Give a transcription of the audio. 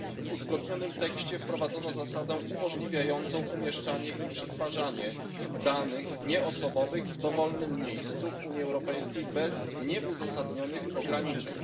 W uzgodnionym tekście wprowadzono zasadę umożliwiającą umieszczanie i przetwarzanie danych nieosobowych w dowolnym miejscu w Unii Europejskiej bez nieuzasadnionych ograniczeń.